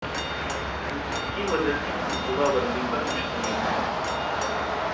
جس کی وجہ سے منصوبہ بندی پر مشتمل ہے